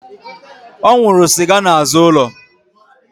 Ọ nwụrụ sịga n'azụ ụlọ